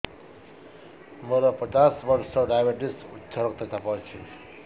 ମୋର ପଚାଶ ବର୍ଷ ଡାଏବେଟିସ ଉଚ୍ଚ ରକ୍ତ ଚାପ ଅଛି